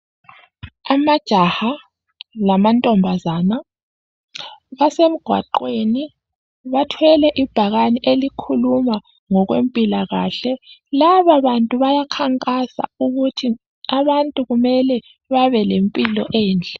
Amajaha lamantombazana basemgwaqweni bathwele ibhakane elikhuluma ngokwempilakahle. Lababantu bayakhankasa ukuthi abantu kumele babelempilo enhle.